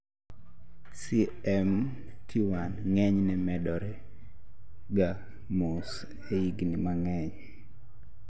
CMT1 ng'enyne medore ga mos e higni mang'eny